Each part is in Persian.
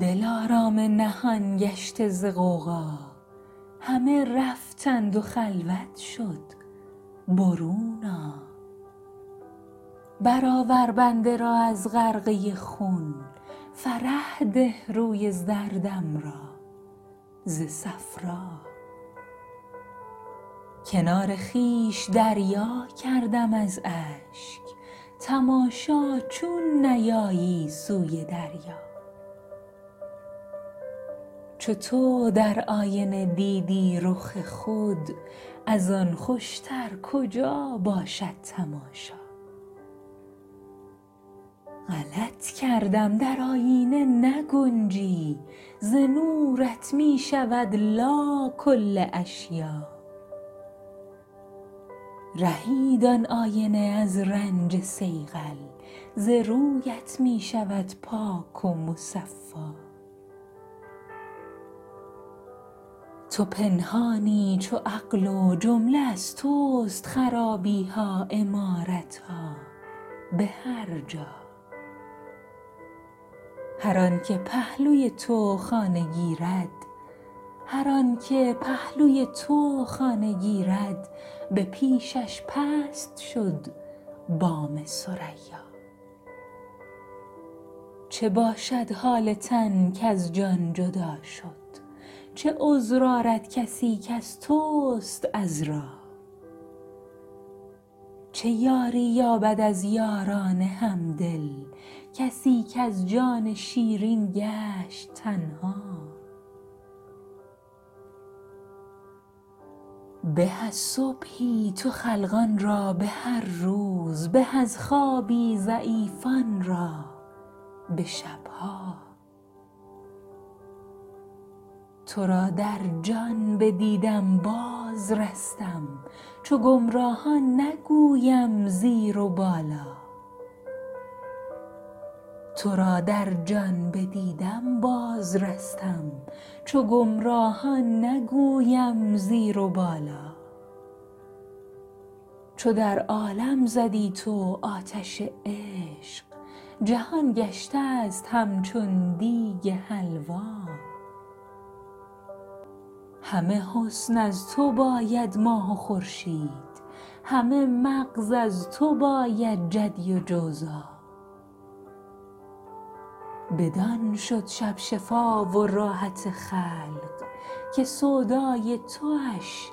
دلارام نهان گشته ز غوغا همه رفتند و خلوت شد برون آ برآور بنده را از غرقه خون فرح ده روی زردم را ز صفرا کنار خویش دریا کردم از اشک تماشا چون نیایی سوی دریا چو تو در آینه دیدی رخ خود از آن خوشتر کجا باشد تماشا غلط کردم در آیینه نگنجی ز نورت می شود لا کل اشیاء رهید آن آینه از رنج صیقل ز رویت می شود پاک و مصفا تو پنهانی چو عقل و جمله از تست خرابی ها عمارت ها به هر جا هر آنک پهلوی تو خانه گیرد به پیشش پست شد بام ثریا چه باشد حال تن کز جان جدا شد چه عذر آرد کسی کز تست عذرا چه یاری یابد از یاران همدل کسی کز جان شیرین گشت تنها به از صبحی تو خلقان را به هر روز به از خوابی ضعیفان را به شب ها تو را در جان بدیدم بازرستم چو گمراهان نگویم زیر و بالا چو در عالم زدی تو آتش عشق جهان گشتست همچون دیگ حلوا همه حسن از تو باید ماه و خورشید همه مغز از تو باید جدی و جوزا بدان شد شب شفا و راحت خلق که سودای توش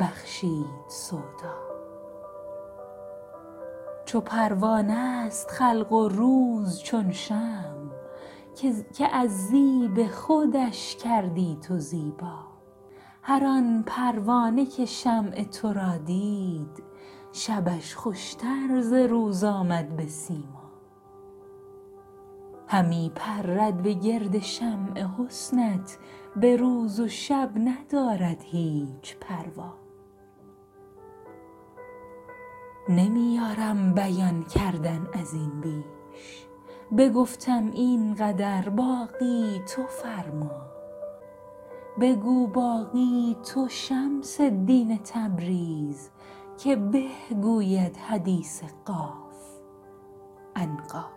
بخشید سودا چو پروانه ست خلق و روز چون شمع که از زیب خودش کردی تو زیبا هر آن پروانه که شمع تو را دید شبش خوشتر ز روز آمد به سیما همی پرد به گرد شمع حسنت به روز و شب ندارد هیچ پروا نمی یارم بیان کردن از این بیش بگفتم این قدر باقی تو فرما بگو باقی تو شمس الدین تبریز که به گوید حدیث قاف عنقا